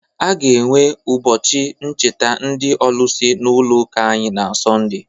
A ga-enwe ụbọchị ncheta ndị olusi n'ụlọ ụka anyị na sọnde